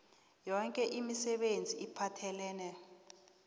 yoke imisebenzi ephathelene